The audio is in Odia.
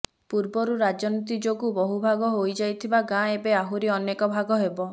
ପୂର୍ବରୁ ରାଜନୀତି ଯୋଗୁଁ ବହୁଭାଗ ହୋଇଯାଇଥିବା ଗାଁ ଏବେ ଆହୁରି ଅନେକ ଭାଗ ହେବ